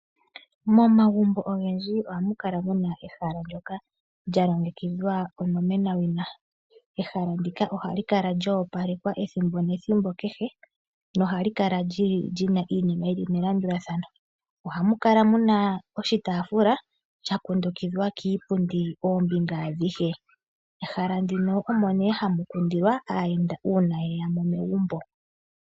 Momagumbo ogendji ohamu kala muna ehala ndyoka lya longekidhwa onomeniwa. Ehala ndika ohali kala lya opalekwa ethimbo nethimbo kehe nohali kala lyina iinima yili melandulathano. Ohamu kala muna oshitaafula sha kundukidhwa kiipundi oombinga adhihe. Ehala ndino omo nee hamu kundilwa aayenda uuna ye ya megumbo.